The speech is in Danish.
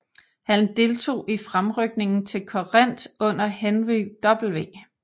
Han deltog i fremrykningen til Corinth under Henry W